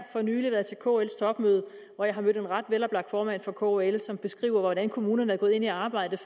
for nylig været til kls topmøde hvor jeg mødte en ret veloplagt formand for kl som beskrev hvordan kommunerne er gået ind i arbejdet